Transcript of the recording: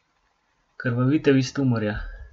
Krvavitev iz tumorja!